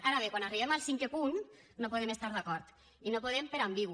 ara bé quan arribem al cinquè punt no hi podem estar d’acord i no podem per ambigu